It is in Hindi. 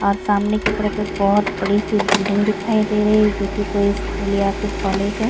और सामने की तरफ एक बहोत बड़ी सी बिल्डिंग दिखाई दे रही है जोकि कोई स्कूल या फिर कॉलेज है।